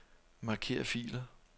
Marker filer.